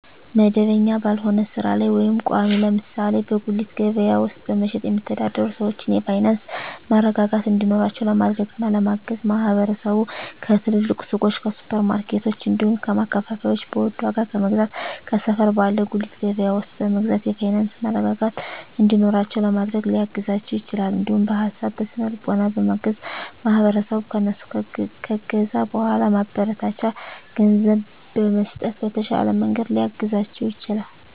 መደበኛ ባልሆነ ስራ ላይ ወይም ቋሚ (ለምሳሌ በጉሊት ገበያ ውስጥ በመሸጥ የሚተዳደሩ ሰዎችን የፋይናንስ መረጋጋት እንዲኖራቸው ለማድረግና ለማገዝ ማህበረሰቡ ከትልልቅ ሱቆች፣ ከሱፐር ማርኬቶች፣ እንዲሁም ከማከፋፈያዎች በውድ ዋጋ ከመግዛት ከሰፈር ባለ ጉሊት ገበያ ውስጥ በመግዛት የፋይናንስ መረጋጋት እንዲኖራቸው ለማድረግ ሊያግዛቸው ይችላል። እንዲሁም በሀሳብ በስነ ልቦና በማገዝ ማህበረሰቡ ከእነሱ ከገዛ በኃላ ማበረታቻ ገንዘብ በመስጠት በተሻለ መንገድ ሊያግዛቸው ይችላል።